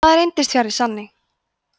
það reyndist fjarri sanni